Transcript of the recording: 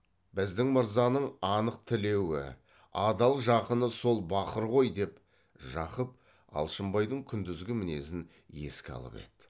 біздің мырзаның анық тілеуі адал жақыны сол бақыр ғой деп жақып алшынбайдың күндізгі мінезін еске алып еді